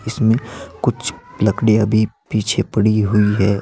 इसमें कुछ लकड़ियाँ भी पीछे पड़ी हुई हैं।